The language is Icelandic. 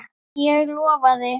Ég lofaði.